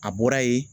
A bɔra yen